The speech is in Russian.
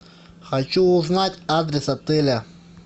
хочу узнать адрес отеля